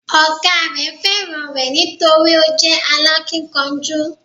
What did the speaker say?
Ọ̀gá rẹ̀ fẹ́ràn rẹ̀ nítorí o jẹ́ alákínkanjú